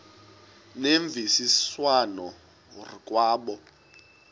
ngemvisiswano r kwabo